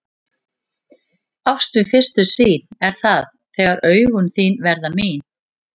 Ást við fyrstu sýn er það þegar augun þín verða mín.